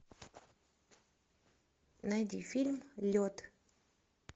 найди фильм лед